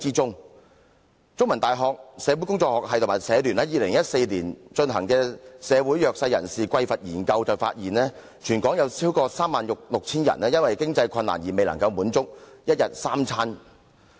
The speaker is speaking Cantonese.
香港中文大學社會工作學系及香港社會服務聯會在2014年進行的"社會弱勢人士的匱乏研究"發現，全港有超過 36,000 人因經濟困難而未能負擔一天三餐。